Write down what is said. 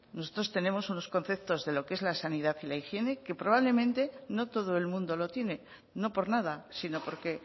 nosotros tenemos unos conceptos de lo que es la sanidad y la higiene que probablemente no todo el mundo lo tiene no por nada sino porque